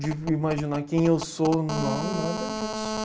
De imaginar quem eu sou, não, nada disso.